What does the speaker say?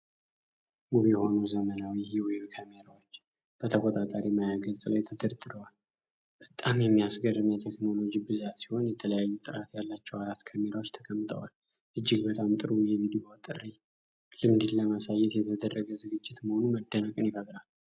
ውብ የሆኑ ዘመናዊ የዌብ ካሜራዎች በተቆጣጣሪ ማያ ገጽ ላይ ተደርድረዋል። በጣም የሚያስገርም የቴክኖሎጂ ብዛት ሲሆን፣ የተለያዩ ጥራት ያላቸው አራት ካሜራዎች ተቀምጠዋል። እጅግ በጣም ጥሩ የቪዲዮ ጥሪ ልምድን ለማሳየት የተደረገ ዝግጅት መሆኑ መደነቅን ይፈጥራል።